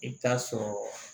I bɛ taa sɔrɔ